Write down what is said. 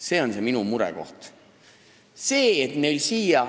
See on minu mure.